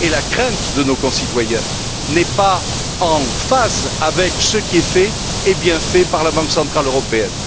La crainte de nos concitoyens n'est pas en phase avec ce qui est fait, et bien fait, par la Banque centrale européenne.